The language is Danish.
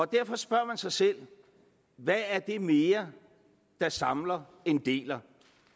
derfor spørger man sig selv hvad er det mere der samler end deler